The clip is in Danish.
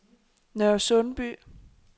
Nørresundby